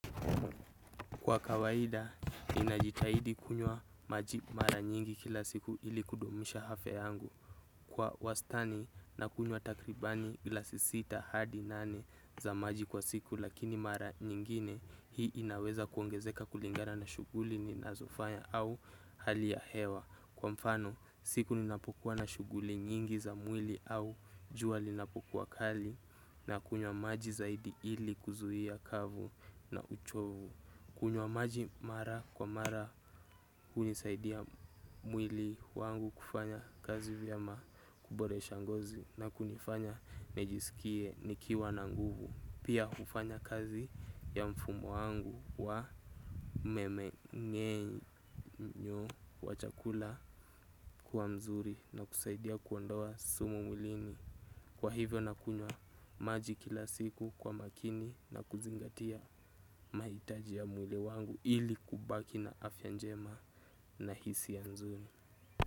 Kwa kawaida, ninajitahidi kunywa maji mara nyingi kila siku ili kudumisha afya yangu. Kwa wastani, nakunywa takribani glasi sita hadi nane za maji kwa siku, lakini mara nyingine hii inaweza kuongezeka kulingara na shuguli ninazofanya au hali ya hewa. Kwa mfano, siku ninapokuwa na shuguli nyingi za mwili au jua linapokuwa kali nakunywa maji zaidi ili kuzuia kavu na uchovu. Kunywa maji mara kwa mara hunisaidia mwili wangu kufanya kazi vyema kuboresha ngozi na kunifanya nijisikie nikiwa na nguvu. Pia hufanya kazi ya mfumo wangu wa mmenyenyo wa chakula kuwa mzuri na kusaidia kuondoa sumu mwilini. Kwa hivyo nakunywa maji kila siku kwa makini na kuzingatia maitaji ya mwili wangu ili kubaki na afyabnjema na hisia nzuri.